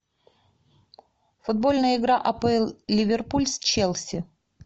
футбольная игра апл ливерпуль с челси